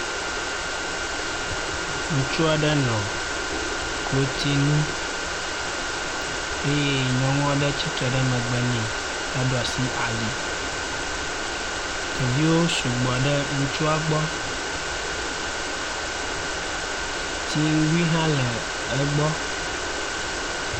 Ŋutsu aɖe nɔ klotsinu eye nyɔnu aɖe tsitre ɖe megbe nɛ heɖo asi ali. Ɖeviwo sugbɔ ɖe ŋutsua gbɔ. Tsiŋgui hã le egbɔ.